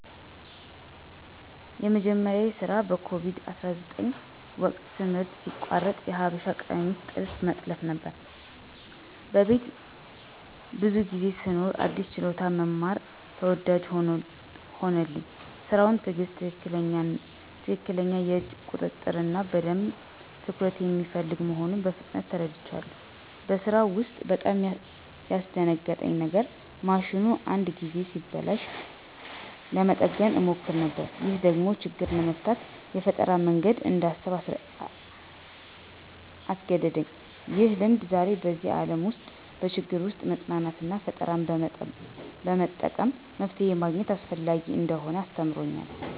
የመጀመሪያዬ ስራ በኮቪድ-19 ወቅት ትምህርት ሲቋረጥ የሀበሻ ቀሚስ ጥልፍ መጥለፍ ነበር። በቤት ብዙ ጊዜ ስኖር አዲስ ችሎታ መማር ተወዳጅ ሆነልኝ። ስራው ትዕግሥት፣ ትክክለኛ የእጅ ቁጥጥር እና በደንብ ትኩረት የሚፈልግ መሆኑን በፍጥነት ተረድቻለሁ። በስራው ውስጥ በጣም ያስደነግጠኝ የነገር ማሽኑ አንዳንድ ጊዜ ሲበላሽ ለመጠገን እሞክር ነበር። ይህ ደግሞ ችግር ለመፍታት የፈጠራ መንገድ እንዳስብ አስገደደኝ። ይህ ልምድ ዛሬ በዚህ ዓለም ውስጥ በችግር ጊዜ መጽናናትና ፈጠራ በመጠቀም መፍትሄ ማግኘት አስፈላጊ እንደሆነ አስተምሮኛል።